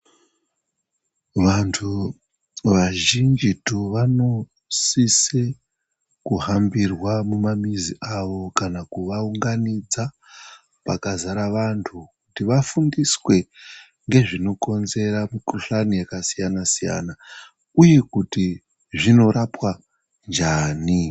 Vantu vazhinjitu, vanosise kuhambirwa mumamuzi avo kana kuvaunganidza, pakazara vantu, kuti vafundiswe ngezvinokonzera mikhuhlani yakasiyana-siyana ,uye kuti zvinorapwa njani.